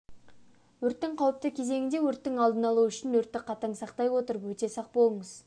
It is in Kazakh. өрттің қауіпті кезеңінде өрттің алдын алу үшін өртті қатаң сақтай отырып өте сақ болыңыз.